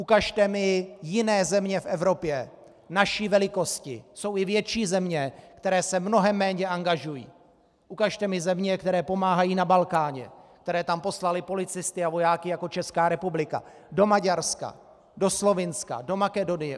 Ukažte mi jiné země v Evropě naší velikosti - jsou i větší země, které se mnohem méně angažují - ukažte mi země, které pomáhají na Balkáně, které tam poslaly policisty a vojáky jako Česká republika, do Maďarska, do Slovinska, do Makedonie.